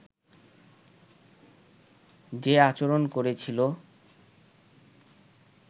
যে আচরণ করেছিল